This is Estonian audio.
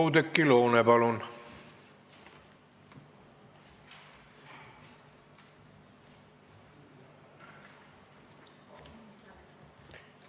Oudekki Loone, palun!